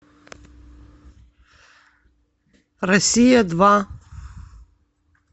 россия два